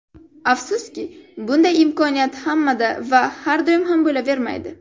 Afsuski, bunday imkoniyat hammada va har doim ham bo‘lavermaydi.